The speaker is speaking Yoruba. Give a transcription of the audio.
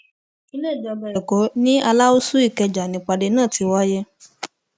ilé ìjọba ẹkọ ni aláùsù ìkẹjà nípàdé náà ti wáyé